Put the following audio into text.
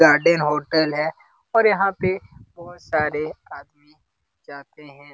Garden hotel है और यहाँ पे बहुत सारा आदमी जाते हैं।